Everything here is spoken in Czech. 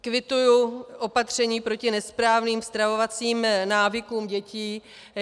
Kvituji opatření proti nesprávným stravovacím návykům dětí.